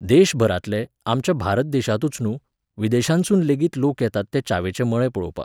देशभरांतले, आमच्या भारत देशांतूच न्हूं, विदेशांतसूनलेगीत लोक येतात ते च्यावेचे मळे पळोवपाक.